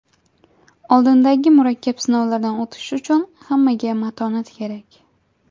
Oldindagi murakkab sinovlardan o‘tish uchun hammaga matonat kerak.